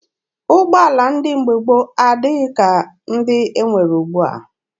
Ụgbọala ndị mgbe gboo adịghị ka ndị e nwere ugbua.